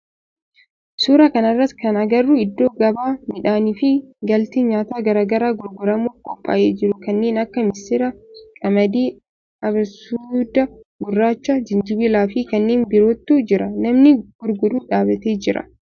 Suuraa kana irratti kan agarru iddoo gabaa midhaani fi galtee nyaataa garaa garaa gurguramuf qophaa'ee jiru kanneen akka misira, qamadii, abasuuda gurraacha, jinjibila fi kanneen birootu jira. Namni gurguru dhaabbatee jira.